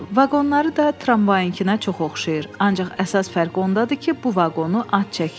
Vaqonları da tramvayınkına çox oxşayır, ancaq əsas fərq ondadır ki, bu vaqonu at çəkir.